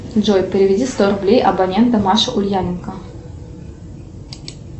джой переведи сто рублей абоненту маша ульяненко